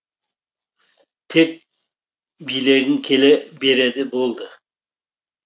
тек билегің келе береді болды